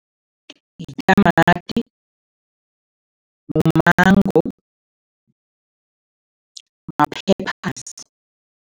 Yitamati, mumango, ma-peppers.